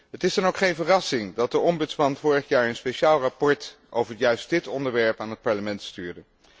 Het is dan ook geen verrassing dat de ombudsman vorig jaar een speciaal verslag over juist dit onderwerp aan het Parlement stuurde.